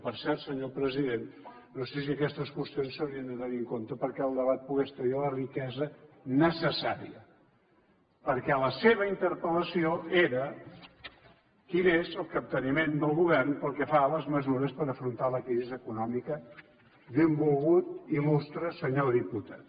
per cert senyor president no sé si aquestes qüestions s’haurien de tenir en compte perquè el debat pogués tenir la riquesa necessària perquè la seva interpel·lació era quin és el capteniment del govern pel que fa a les mesures per afrontar la crisi econòmica benvolgut illustre senyor diputat